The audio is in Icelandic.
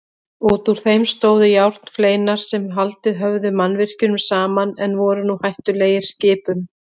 Útúr þeim stóðu járnfleinar sem haldið höfðu mannvirkjunum saman en voru nú hættulegir skipum.